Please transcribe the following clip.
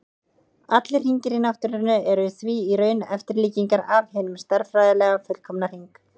Allir hringir í náttúrunni eru því í raun eftirlíkingar af hinum stærðfræðilega fullkomna hring.